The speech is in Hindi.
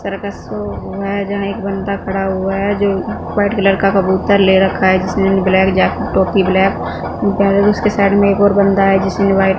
सर्कस शो हुआ है जहां एक बंदा खड़ा हुआ है जो व्हाइट कलर का कबूतर ले रखा है जिसने ब्लैक जैकेट टोपी ब्लैक पहले तो उसके साइड में एक और बंदा है जिसने व्हाइट --